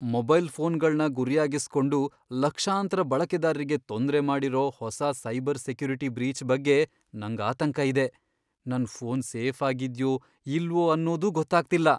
Mobile ಫೋನ್ಗಳ್ನ ಗುರಿಯಾಗಿಸ್ಕೊಂಡು ಲಕ್ಷಾಂತ್ರ ಬಳಕೆದಾರ್ರಿಗೆ ತೊಂದ್ರೆ ಮಾಡಿರೋ ಹೊಸ ಸೈಬರ್ ಸೆಕ್ಯುರಿಟಿ ಬ್ರೀಚ್ ಬಗ್ಗೆ ನಂಗ್ ಆತಂಕ ಇದೆ.. ನನ್ ಫೋನ್ ಸೇಫಾಗಿದ್ಯೋ ಇಲ್ವೋ ಅನ್ನೋದೂ ಗೊತ್ತಾಗ್ತಿಲ್ಲ.